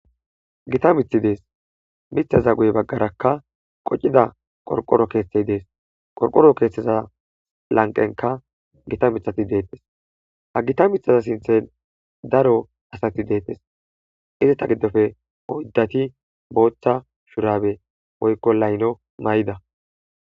Gita mithi dees mitha za guy baggarakka qocida qorqoro keeththet dees qorqoro keeththeza lanqenka gita mithati deettes ha gita mithaza sinthen daro asati deettes izita giddofe poyddati booththa shurabe moykko layno may7ida